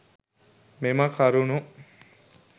මෙම කරුණු